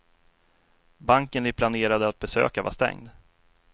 Banken de planerade att besöka var stängd.